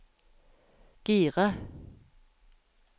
gire